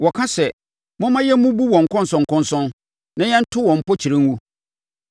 Wɔka sɛ, “Momma yɛmmubu wɔn nkɔnsɔnkɔnsɔn na yɛnto wɔn mpokyerɛ ngu.”